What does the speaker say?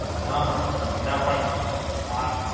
હાં, ના પણ આ